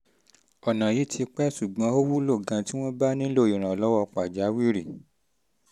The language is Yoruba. um ọ̀nà yìí ti pẹ́ ṣùgbọ́n ó wúlò gan-an tí um wọ́n bá um nílò ìrànlọ́wọ́ nílò ìrànlọ́wọ́ pàjáwìrì